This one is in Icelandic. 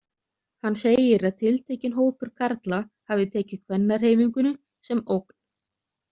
Hann segir að tiltekinn hópur karla hafi tekið kvennahreyfingunni sem ógn.